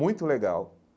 Muito legal.